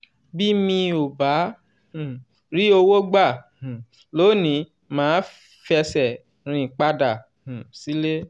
bí mi ò bá um rí owó gbà um lónìí màá fẹsẹ̀ rìn padà um sílé.